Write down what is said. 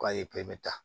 K'a ye ta